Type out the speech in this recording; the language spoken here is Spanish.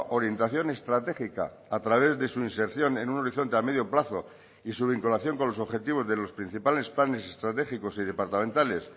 orientación estratégica a través de su inserción en un horizonte a medio plazo y su vinculación con los objetivos de los principales planes estratégicos y departamentales